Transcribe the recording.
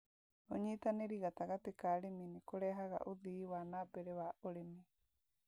ũnyitanĩri gatagati ka arĩmi nĩ kũrehaga ũthii wa na mbere wa ũrĩmi